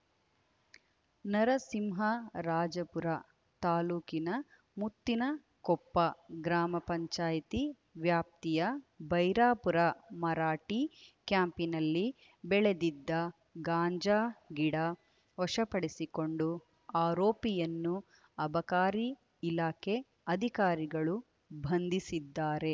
ನರಸಿಂಹರಾಜಪುರ ತಾಲುಕಿನ ಮುತ್ತಿನಕೊಪ್ಪ ಗ್ರಾಮ ಪಂಚಾಯತಿ ವ್ಯಾಪ್ತಿಯ ಬೈರಾಪುರ ಮರಾಠಿ ಕ್ಯಾಂಪಿನಲ್ಲಿ ಬೆಳೆದಿದ್ದ ಗಾಂಜಾ ಗಿಡ ವಶಪಡಿಸಿಕೊಂಡು ಆರೋಪಿಯನ್ನು ಅಬಕಾರಿ ಇಲಾಖೆ ಅಧಿಕಾರಿಗಳು ಬಂಧಿಸಿದ್ದಾರೆ